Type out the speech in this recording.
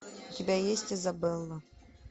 у тебя есть изабелла